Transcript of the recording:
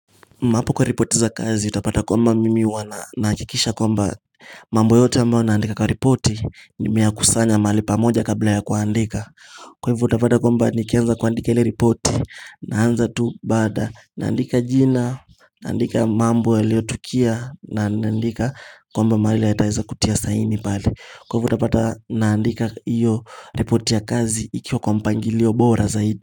Mapo kwa ripoti za kazi utapata kwamba mimi huwa na nahakikisha kwamba mambo yote ambao naandika kwa ripoti nimeyakusanya mali pamoja kabla ya kuandika Kwa hivo utapata kwamba nikianza kuandika ili ripoti naanza tu bada naandika jina naandika mambo yaliotukia naandika kwamba mahali yataweza kutia saini pali kwa hivo utapata naandika iyo ripoti ya kazi ikiwa kwa mpangilio bora zaidi.